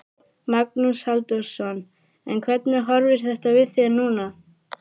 Magnús Halldórsson: En hvernig horfir þetta við þér núna?